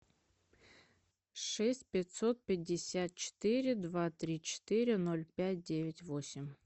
шесть пятьсот пятьдесят четыре два три четыре ноль пять девять восемь